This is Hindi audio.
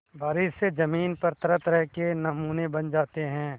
बारिश से ज़मीन पर तरहतरह के नमूने बन जाते हैं